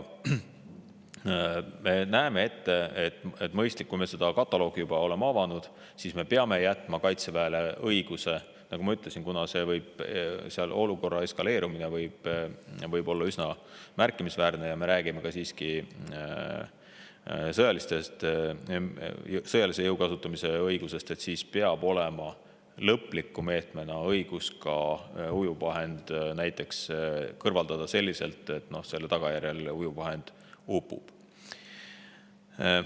Me näeme ette, et on mõistlik, kui me juba oleme selle kataloogi avanud, jätta Kaitseväele juhul, kui olukorra eskaleerumine on üsna märkimisväärne – ja me räägime siiski sõjalise jõu kasutamise õigusest –, lõpliku meetmena õigus kõrvaldada ujuvvahend selliselt, et see selle tagajärjel upub.